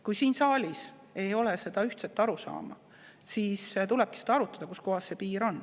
Kui siin saalis ei ole selles ühtset arusaama, siis tulebki lihtsalt arutada, kuskohas see piir on.